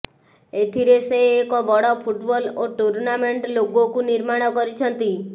ଏଥିରେ ସେ ଏକ ବଡ଼ ଫୁଟବଲ୍ ଓ ଟୁର୍ଣ୍ଣାମେଣ୍ଟ ଲୋଗୋକୁ ନିର୍ମାଣ କରିଛନ୍ତି